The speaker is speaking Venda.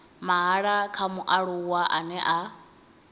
mahala kha mualuwa ane a